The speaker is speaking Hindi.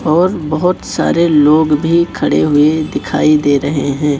और बहोत सारे लोग भी खड़े हुए दिखाई दे रहे हैं।